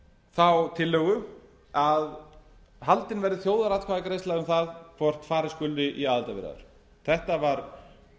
þá tillögu að haldin verði þjóðaratkvæðagreiðsla um það hvort farið verði í aðildarviðræður þetta var